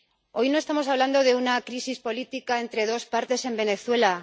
Hoy no estamos hablando de una crisis política entre dos partes en Venezuela.